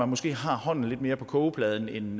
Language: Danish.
måske har hånden lidt mere på kogepladen end